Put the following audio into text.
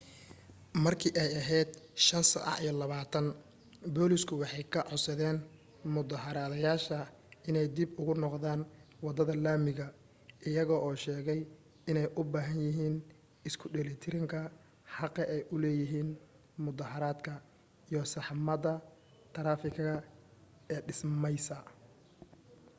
markay ahayd 11:20 booliisku waxay ka codsadeen mudaaharaadayaasha inay dib ugu noqdaan waddada laamiga iyaga oo sheegay inay u baahan yihiin isku dheelitiranka xaqa ay u leeyihin mudaaharadka iyo saxmadda taraafigga ee dhismaysa